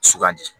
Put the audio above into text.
Sugandi